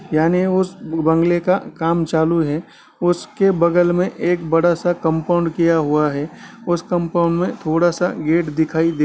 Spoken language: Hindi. यानि उस बंगले का काम चालू है| उसके बगल में एक बड़ा-सा कम्पाउन्ड किया हुआ है| उस कम्पाउन्ड में थोड़ा-सा गेट दिखाई दे--